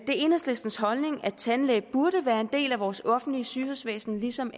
enhedslistens holdning at tandlæge burde være en del af vores offentlige sygehusvæsen lige som